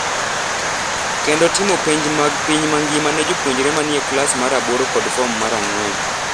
kendo timo penj mag piny mangima ne jopuonjre ma ni e klas mar aboro kod fom mar ang’wen.